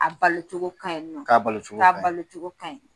A balo cogo ka ɲi nɔ. k'a balo cogo ka ɲi, k'a balo cogo ka ɲi.